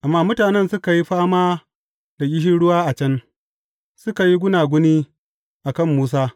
Amma mutanen suka yi fama da ƙishirwa a can, suka yi gunaguni a kan Musa.